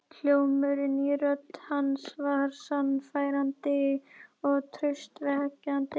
Hljómurinn í rödd hans var sannfærandi og traustvekjandi.